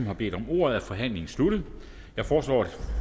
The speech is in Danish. har bedt om ordet er forhandlingen sluttet jeg foreslår at